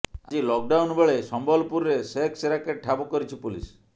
ଆଜି ଲକଡାଉନବେଳେ ସମ୍ବଲପୁରରେ ସେକ୍ସ ରାକେଟ୍ ଠାବ୍ କରିିଛି ପୋଲିସ